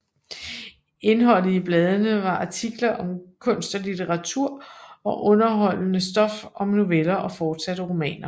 Indholdet i bladene var artikler om kunst og litteratur og underholdende stof som noveller og forsatte romaner